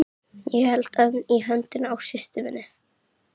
Ég held enn í höndina á systur minni.